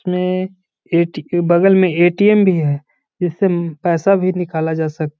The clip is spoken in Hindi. इसमें एट के बगल में ए.टी.एम. भी है जिससे उम पैसा भी निकाला जा सक --